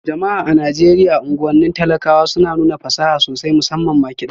Jama'a a Najeriya unguwannin talakawa suna nuna fasaha sosai, musamman ma kiɗa